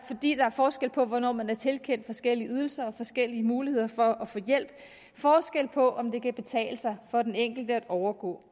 er forskel på hvornår man er blevet tilkendt forskellige ydelser og forskellige muligheder for at få hjælp forskel på om det kan betale sig for den enkelte at overgå